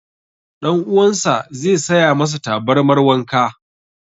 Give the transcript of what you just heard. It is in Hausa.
Ɗan uwan sa ze saya masa tabarmar wanka